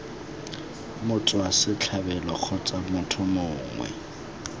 motswa setlhabelo kgotsa motho mongwe